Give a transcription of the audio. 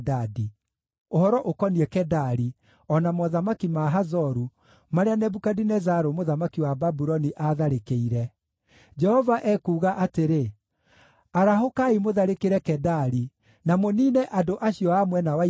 Ũhoro ũkoniĩ Kedari, o na mothamaki ma Hazoru, marĩa Nebukadinezaru mũthamaki wa Babuloni aatharĩkĩire: Jehova ekuuga atĩrĩ: “Arahũkai mũtharĩkĩre Kedari, na mũniine andũ acio a mwena wa Irathĩro.